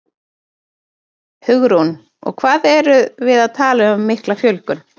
Hugrún: Og hvað erum við að tala um mikla fjölgun?